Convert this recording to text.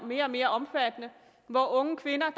mere og mere omfattende at unge kvinder